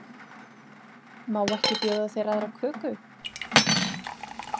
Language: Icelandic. Má ekki bjóða þér aðra köku?